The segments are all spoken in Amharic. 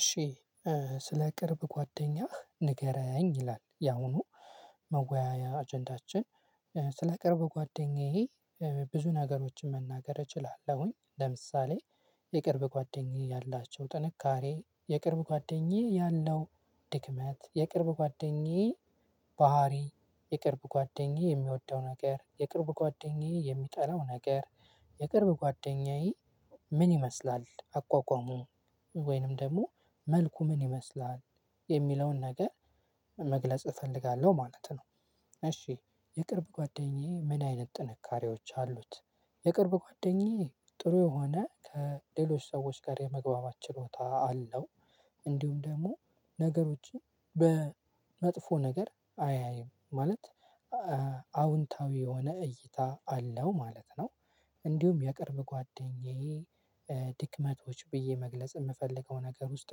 እሺ ስለ ቅርብ ጓደኛህ ንገረኝ ይላል። ያውኑ መወያያ አጀንዳችን ስለ ቅርብ ጓደኛዬ ብዙ ነገሮችን መናገር እችላለሁኝ። ለምሳሌ የቅርብ ጓደኛዬ ያላቸው ጥንካሬ የቅርብ ጓደኛዬ ያለው። ድክመት የቅርብ ጓደኛዬ ባህሪ የቅርብ ጓደኛዬ የሚወደው ነገር የቅርብ ጓደኛዬ የሚጠላው ነገር የቅርብ ጓደኛዬ። ምን ይመስላል አቋቋሙ ወይንም ደግሞ መልኩ ምን ይመስላል የሚለውን ነገር መግለጽ እፈልጋለሁ ማለት ነው። እሺ የቅርብ ጓደኛዬ ምን አይነት ጥንካሬዎች አሉት? የቅርብ ጓደኛዬ ጥሩ የሆነ ከሌሎች ሰዎች ጋር የመግባባት ችሎታ አለው። እንዲሁም ደግሞ ነገሮችን በመጥፎ ነገር አያይም ማለት አዎንታዊ የሆነ እይታ አለው ማለት ነው። እንዲሁም የቅርብ ጓደኛዬ ድክመቶች ብዬ መግለጽ የምፈልገው ነገር ውስጥ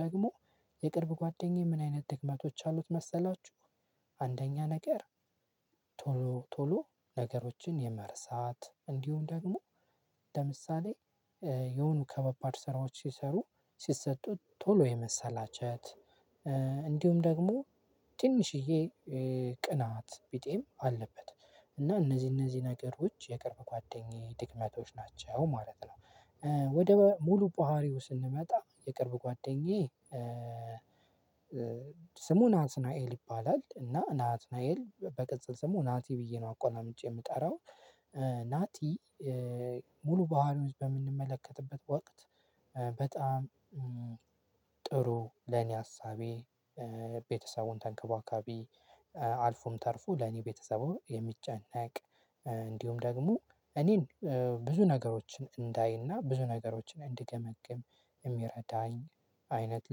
ደግሞ የቅርብ ጓደኛዬ ምን አይነት ድክመቶች አሉት መሰላችሁ? አንደኛ ነገር ቶሎ ነገሮችን የመረሳት እንዲሁ ደግሞ ለምሳሌ የሆኑ ከባባድ ስራዎች ሲሰሩ ሲሰጡት ቶሎ የመሰላቸት። እንዲሁም ደግሞ ትንሽዬ ቅናት ቢጤም አለበት እና እነዚህ እነዚህ ነገሮች የቅርብ ጓደኛዬ ድክመቶች ናቸው ማለት ነው። ወደ ሙሉ ፓሃሪው ስንመጣ የቅርብ ጓደኛዬ ስሙ ናትናኤል ይባላል እና ናትናኤል በቅጽል ስሙ ናቲ ብዬ ነው አቆላምጬ የምጠራው። ናቲ ሙሉ ባህሪዎች በምንመለከትበት ወቅት በጣም ጥሩ ለኔ ሀሳቢ ቤተሰቡን ተንከባካቢ አልፎም ተርፎ ለኔ ቤተሰቡ የሚጨነቅ እንዲሁም ደግሞ እኔን ብዙ ነገሮችን እንዳይና ብዙ ነገሮችን እንድገመግም የሚረዳኝ አይነት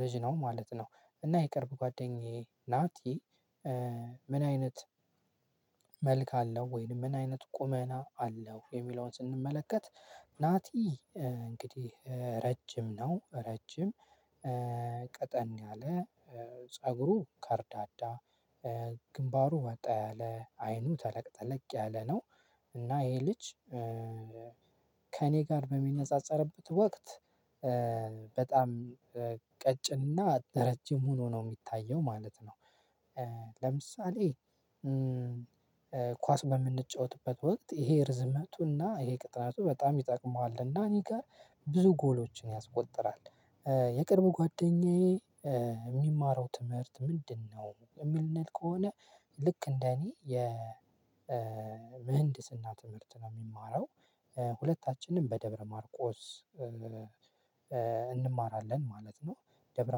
ልጅ ነው ማለት ነው። እና የቅርብ ጓደኛዬ ናቲ ምን አይነት መልክ አለው ወይንም ምን አይነት ቁመና አለው? የሚለውን ስንመለከት ናቲ እንግዲህ ረጅም ነው ረጅም ቀጠን ያለ ፀጉሩ ካርዳዳ ግንባሩ ወጣ ያለ አይኑ ተለቅጠለቅ ያለ ነው። እና ይሄ ልጅ ከእኔ ጋር በሚነጻጸርበት ወቅት በጣም ቀጭንና ረጅም ሆኖ ነው የሚታየው ማለት ነው። ለምሳሌ ኳስ በምንጫወትበት ወቅት ይሄ ርዝመቱና ይሄ ቅጥነቱ በጣም ይጠቅመዋል እና እኔ ጋር ብዙ ጎሎችን ያስቆጥራል። የቅርብ ጓደኛዬ የሚማረው ትምህርት ምንድነው? የምንል ከሆነ ልክ እንደኔ የ ምህንድስና ትምህርት ነው የሚማረው ሁለታችንም በደብረ ማርቆስ እንማራለን ማለት ነው። ደብረ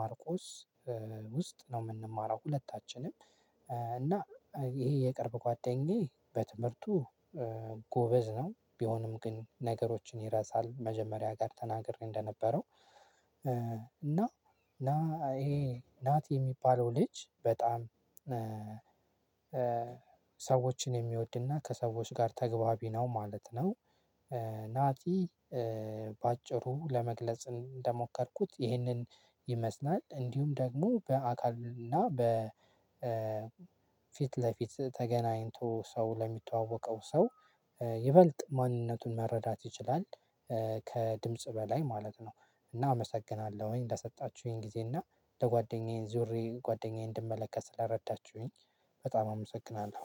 ማርቆስ ውስጥ ነው የምንማረው ሁለታችንም እና ይሄ የቅርብ ጓደኛዬ በትምህርቱ ጎበዝ ነው ቢሆንም ግን ነገሮችን ይረሳል። መጀመሪያ ጋር ተናግሬ እንደነበረው እና ና ይሄ ናቲ የሚባለው ልጅ በጣም ሰዎችን የሚወድና ከሰዎች ጋር ተግባቢ ነው ማለት ነው። ናቲ በአጭሩ ለመግለጽ እንደሞከርኩት ይህንን ይመስላል እንዲሁም ደግሞ በአካል እና በፊት ለፊት ለፊት ተገናኝቶ ሰው ለሚተዋወቀው ሰው ይበልጥ ማንነቱን መረዳት ይችላል። ከድምጽ በላይ ማለት ነው። እና አመሰግናለሁኝ ለሰጣችሁኝ ጊዜ እና ለጓደኛዬን ዙሪያ ጓደኛዬን እንድመለከት ስለረዳችሁኝ በጣም አመሰግናለሁ።